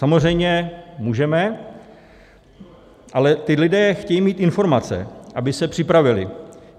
Samozřejmě můžeme, ale ti lidé chtějí mít informace, by se připravili.